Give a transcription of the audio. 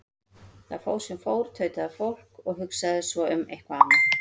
Það fór sem fór, tautaði fólk, og hugsaði svo um eitthvað annað.